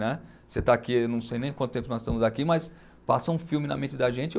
Né. Você está aqui, não sei nem quanto tempo nós estamos aqui, mas passa um filme na mente da gente o.